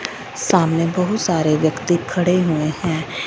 सामने बहुत सारे व्यक्ति खड़े हुए हैं।